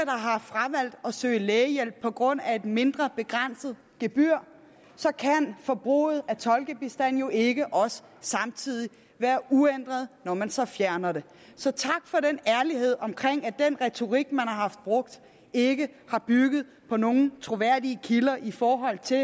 har fravalgt at søge lægehjælp på grund af et mindre begrænset gebyr kan forbruget af tolkebistand jo ikke også samtidig være uændret når man så fjerner det så tak for den ærlighed om at den retorik man har brugt ikke har bygget på nogen troværdige kilder i forhold til